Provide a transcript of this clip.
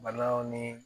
Banaw ni